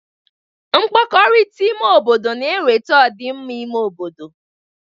Mkpakọrịta ime obodo na-eweta ọ dị mma n'ime obodo.